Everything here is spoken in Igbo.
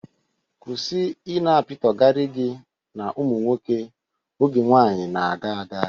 Kwụsị ị na-apitọgara gị na ụmụ nwoke. Oge nwaanyị na-aga aga!